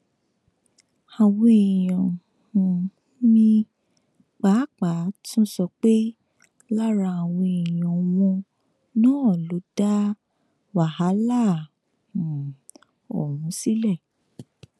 àwọn èèyàn um míín pàápàá tún sọ pé lára àwọn èèyàn wọn náà ló dá wàhálà um ọhún sílẹ